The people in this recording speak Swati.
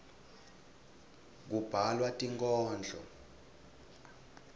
kubhalwa tinkhondlo